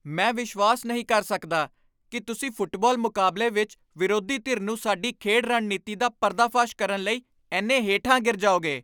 ਮੈਂ ਵਿਸ਼ਵਾਸ ਨਹੀਂ ਕਰ ਸਕਦਾ ਕਿ ਤੁਸੀਂ ਫੁੱਟਬਾਲ ਮੁਕਾਬਲੇ ਵਿੱਚ ਵਿਰੋਧੀ ਧਿਰ ਨੂੰ ਸਾਡੀ ਖੇਡ ਰਣਨੀਤੀ ਦਾ ਪਰਦਾਫਾਸ਼ ਕਰਨ ਲਈ ਇੰਨੇ ਹੇਠਾਂ ਗਿਰ ਜਾਓਗੇ।